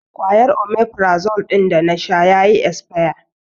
Kwayar 'Omefrazole' ɗin da na sha ya yi isfiya